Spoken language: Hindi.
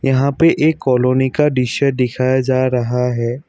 यहां पे एक कॉलोनी का दृश्य दिखाया जा रहा है।